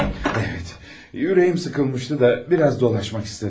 Evet, ürəyim sıxılmışdı da, biraz dolaşmaq istədim.